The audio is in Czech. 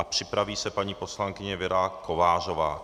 A připraví se paní poslankyně Věra Kovářová.